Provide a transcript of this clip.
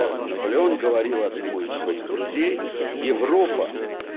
наполеон говорил одному из своих друзей европа